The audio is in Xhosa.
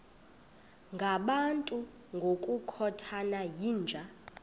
ngabantu ngokukhothana yinja